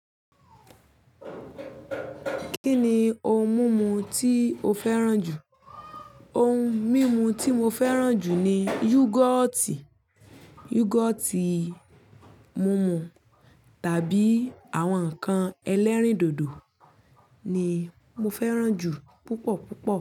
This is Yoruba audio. Kí ni ohun mímu tí o fẹ́ràn jù? Ohun mímu tí mo fẹ́ràn jù ni yúgọ́ọ́tì. Yúgọ́ọ́tì mumu tàbí àwọn ǹkan ẹlẹ́rìndòdò ni mo fẹ́ràn jù púpọ̀ púpọ̀.